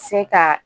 Se ka